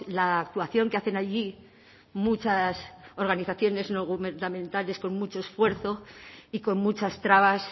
la actuación que hacen allí muchas organizaciones no gubernamentales con mucho esfuerzo y con muchas trabas